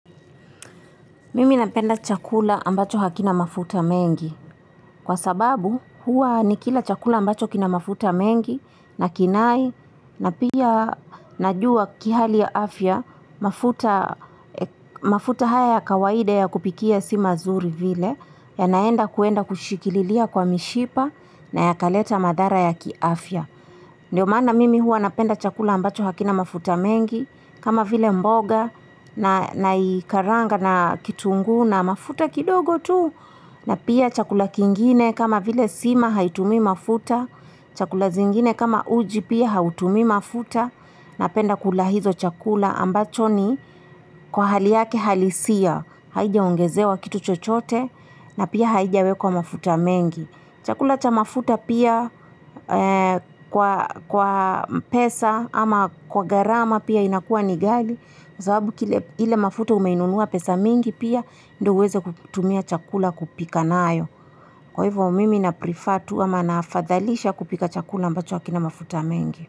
Mimi napenda chakula ambacho hakina mafuta mengi kwa sababu hua nikila chakula ambacho kina mafuta mengi na kinai na pia najua kihali ya afya mafuta haya ya kawaide ya kupikia si mazuri vile ya naenda kuenda kushikililia kwa mishipa na yakaleta madara ya kiafya. Ndiyo mana mimi hua napenda chakula ambacho hakina mafuta mengi, kama vile mboga naikaranga na kitungu na mafuta kidogo tu, na pia chakula kingine kama vile sima haitumi mafuta, chakula zingine kama uji pia hautumi mafuta, napenda kula hizo chakula ambacho ni kwa hali yake halisia, haijaongezewa kitu chochote na pia haijawekws mafuta mengi. Chakula cha mafuta pia kwa pesa ama kwa gharama pia inakua ni ghali. Zababu kile mafuta umainunua pesa mingi pia ndo uweze kutumia chakula kupika naayo. Kwa hivyo mimi naprefer tu ama naafadhalisha kupika chakula ambacho wakina mafuta mingi.